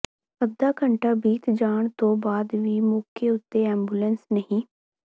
ਅੱਧਾ ਘੰਟਾ ਬੀਤ ਜਾਣ ਤੋਂ ਬਾਅਦ ਵੀ ਮੌਕੇ ਉਤੇ ਐਂਬੂਲੈਂਸ ਨਹੀਂ